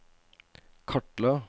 kartla